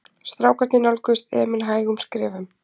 Strákarnir nálguðust Emil hægum skrefum.